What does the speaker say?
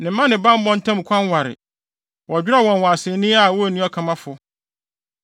Ne mma ne bammɔ ntam kwan ware, wɔdwerɛw wɔn wɔ asennii a wonni ɔkamafo.